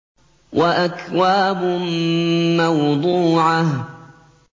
وَأَكْوَابٌ مَّوْضُوعَةٌ